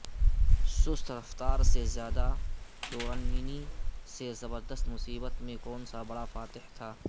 سست رفتار سے زیادہ ٹورننی سے زبردست مصیبت میں کون سا بڑا فاتح تھا